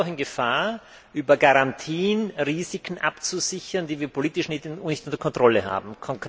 Wir laufen Gefahr, über Garantien Risiken abzusichern, die wir politisch nicht unter Kontrolle haben.